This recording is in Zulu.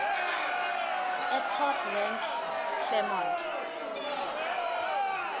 etop rank eclermont